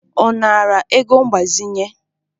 Ọ nara ego mgbazinye?